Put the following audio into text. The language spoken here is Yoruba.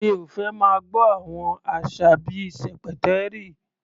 Mi ò fẹ́ máa gbọ́ àwọn àṣà bí i "ṣẹ̀pẹ̀tẹ́rì".